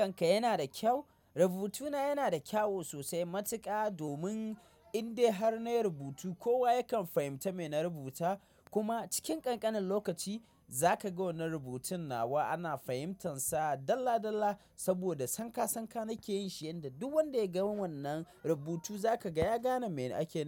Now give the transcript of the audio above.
Rubutunka yana da kyau? Rubutuna yana da kyau sosai matuka domin in dai har na yi rubutu kowa yakan fahimta me na rubuta. Kuma cikin ƙanƙanin lokaci za ka ga wannan rubutun nawa ana fahimtansa dalla dalla saboda sankasanka nake yin shi yanda duk wanda ya ga wannan rubutu za ka ga ya gane me ake nema.